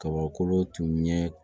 Kabakolo tun ye